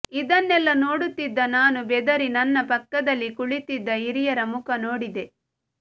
ಇದನ್ನೆಲ್ಲ ನೋಡುತ್ತಿದ್ದ ನಾನು ಬೆದರಿ ನನ್ನ ಪಕ್ಕದಲ್ಲಿ ಕುಳಿತಿದ್ದ ಹಿರಿಯರ ಮುಖ ನೋಡಿದೆ